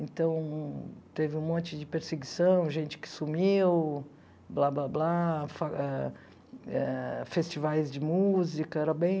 Então, teve um monte de perseguição, gente que sumiu, blá, blá, blá, fa ah eh festivais de música, era bem...